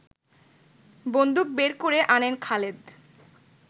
বন্দুক বের করে আনেন খালেদ